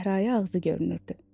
çəhrayı ağzı görünürdü.